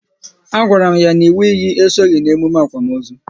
A gwara m n'inwu iyi esoghị n'emume akwamozu